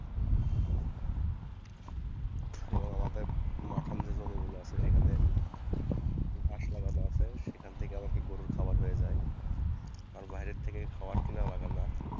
এবং আমাদের মাঠান যে জমিগুলো আছে সেখান থেকে মাস লাগানো আছে সেখান থেকে আবার কি গরুর খাবার হয়ে যায় কারণ বাইরে থেকে খাবার কেনাও লাগেনা।